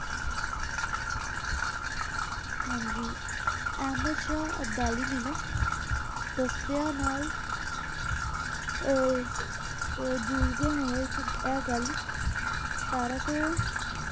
ਹਾਂਜੀ ਅਹਮਦ ਸ਼ਾਹ ਅਬਦਾਲੀ ਨੇ ਨਾ ਤਸੀਹਿਆਂ ਨਾਲ ਆਹ ਜੂਝਦੇ ਇਹ ਗੱਲ ਸਤਾਰਾ ਸੌ,